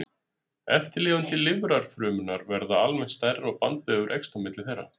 Eftirlifandi lifrarfrumurnar verða almennt stærri og bandvefur eykst á milli þeirra.